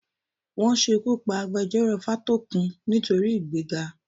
Wọ́n ṣekú pa agbejọ́rò Fátókun nítorí ìgbéga.